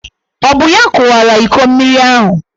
Ọ bụ ya kụwara iko mmiri ahụ?